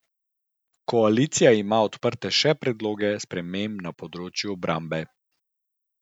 Koalicija ima odprte še predloge sprememb na področju obrambe.